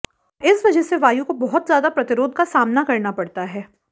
और इस वजह से वायु को बहुत ज्यादा प्रतिरोध का सामना करना पडता है